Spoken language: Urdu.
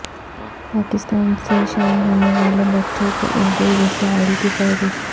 پاکستان سے شائع ہونے والے بچوں کے اردو رسائل کی فہرست